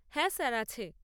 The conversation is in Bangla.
হ্যাঁ, স্যার, আছে।